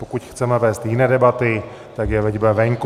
Pokud chceme vést jiné debaty, tak je veďme venku.